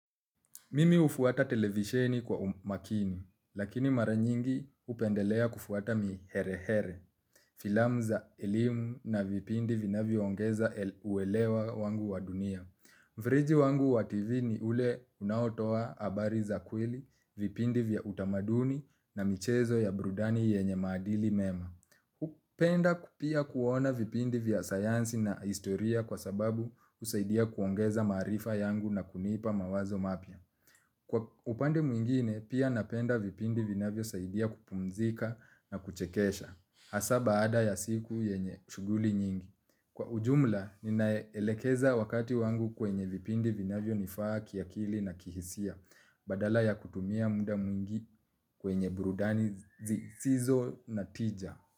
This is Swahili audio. Mimi hufuata televisheni kwa umakini, lakini mara nyingi hupendelea kufuata miherehere, filamu za elimu na vipindi vinavyongeza uelewa wangu wa dunia. Mfereji wangu wa TV ni ule unaotoa habari za kweli, vipindi vya utamaduni na michezo ya burudani yenye maadili mema. Hupenda pia kuona vipindi vya sayansi na historia kwa sababu husaidia kuongeza maarifa yangu na kunipa mawazo mapya. Kwa upande mwingine, pia napenda vipindi vinavyo saidia kupumzika na kuchekesha, hasa baada ya siku yenye shughuli nyingi. Kwa ujumla, ninaelekeza wakati wangu kwenye vipindi vinavyo nifaa kiakili na kihisia, badala ya kutumia muda mwingi kwenye burudani zisizo na tija.